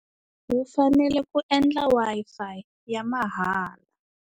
Hi fanele ku yendla Wi-Fi ya mahala.